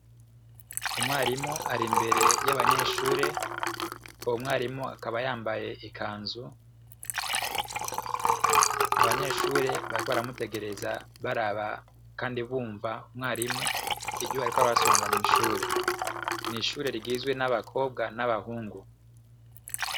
Umwarimu ari imbere y'abanyeshure. Uwo mwarimu akaba yambaye ikanzu, abanyeshure bariko baramutegereza baraba kandi bumva umwarimu ivyo ariko arabasobanurira mw'ishure. N'ishure rigizwe n'abakobwa n'abahungu.